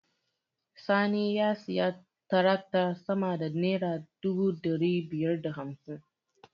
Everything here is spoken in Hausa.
Sani ya sayi taraktar sama da naira dubu ɗari biyar da hamsin.